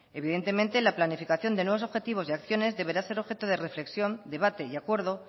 evidentemente la planificación de nuevos objetivos y acciones deberá ser objeto de reflexión debate y acuerdo